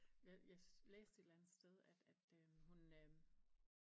Jeg læste et eller andet sted at at øh hun øh